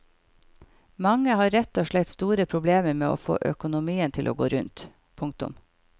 Mange har rett og slett store problemer med å få økonomien til å gå rundt. punktum